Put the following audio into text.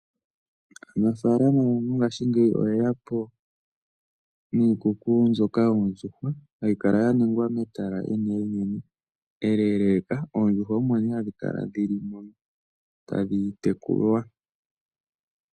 Aanafaalama oyendji ngaashingeyi oye ya po niikuku mbyoka yoondjuhwa, hayi kala ya ningwa metala enene, eleeleka, oondjuhwa omo nee hadhi kala dhili moka tadhi tekulwa.